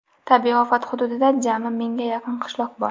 Tabiiy ofat hududida jami mingga yaqin qishloq bor.